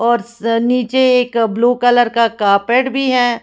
और स्स नीचे एक ब्लू कलर का कार्पेट भी है।